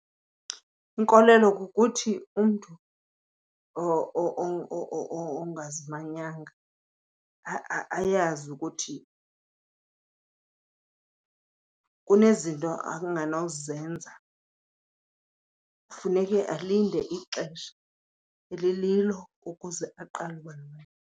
Inkolelo kukuthi umntu ongazimanyanga ayazi ukuthi kunezinto anganozenza. Funeke alinde ixesha elililo ukuze aqale .